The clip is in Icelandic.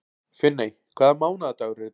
Finney, hvaða mánaðardagur er í dag?